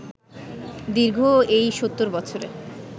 দীর্ঘ এই ৭০ বছরে